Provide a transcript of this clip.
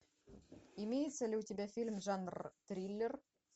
имеется ли у тебя фильм жанр триллер